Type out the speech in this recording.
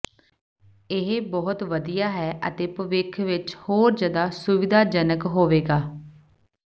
ਇਹ ਬਹੁਤ ਵਧੀਆ ਹੈ ਅਤੇ ਭਵਿੱਖ ਵਿੱਚ ਹੋਰ ਜਿਆਦਾ ਸੁਵਿਧਾਜਨਕ ਹੋਵੇਗਾ